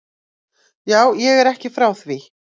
Já, ég er ekki frá því.